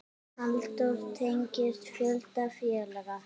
Halldór tengist fjölda félaga.